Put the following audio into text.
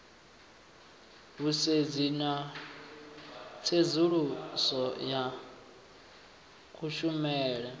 vhusedzi na tsedzuluso ya kushumele